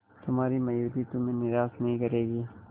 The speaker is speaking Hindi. तुम्हारी मयूरी तुम्हें निराश नहीं करेगी